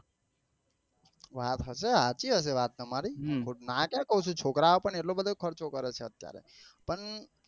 વાત હશે. સાચી હસે વાત તમારી નાં ક્યા કઉં છું છોકરાઓ પણ એટલો બધો ખર્ચો કરે છે અત્યારે પણ